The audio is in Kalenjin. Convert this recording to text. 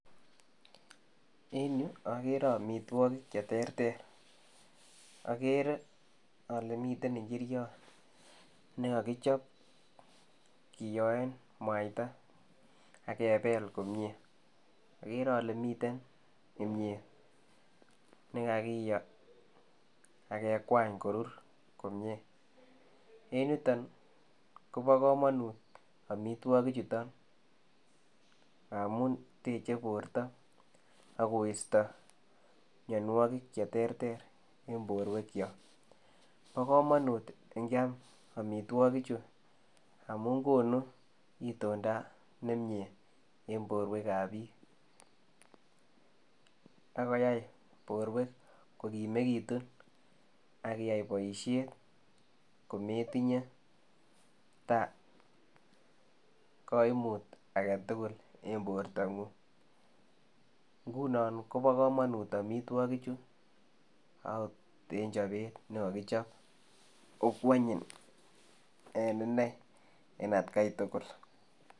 En yu agere amitwagiik che terter, agere ale miten injiriat nekakichaap kiyoen mwaita agebeel komyei agere ale miten kimyeet ne kakiyoo age kwaany korir komyei, en yutoon kobaa kamanuut amitwagiik chutoon ngamuun tejei bortoo, agoistaa mianwagik che terter en boruek kyaak bo kamanut kyaam amitwagiik chutoon amuun konuu itondaa nemie en boruek ab biik akoyai boruek ko kimekituun akiyai boisiet kometinyei tabuu kaimuut age tugul en borto nguung, ngunon kobaa kamanuut amitwagiik chuu en chapeet nekakichaap ko kwanyiin en inei en at gai tugul.